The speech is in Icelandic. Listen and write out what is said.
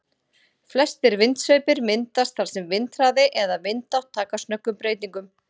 Flestir vindsveipir myndast þar sem vindhraði eða vindátt taka snöggum breytingum.